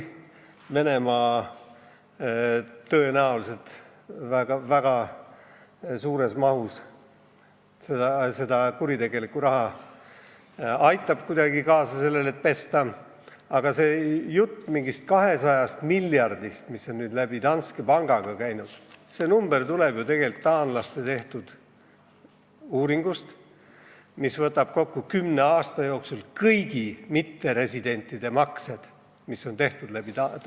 Venemaa tõenäoliselt väga suures mahus aitab kuidagi kaasa sellele, et seda kuritegelikku raha pesta, aga see jutt mingist 200 miljardist, mis on läbi Danske panga käinud, tuleb tegelikult taanlaste tehtud uuringust, mis võtab kokku kümne aasta jooksul läbi Danske panga tehtud kõigi mitteresidentide maksed.